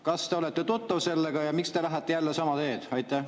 Kas te olete tuttav sellega ja miks te lähete jälle sama teed?